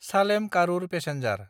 Salem-Karur passenger